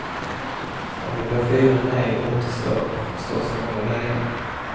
Om det blir fyra nej, återstår förstås många vägar.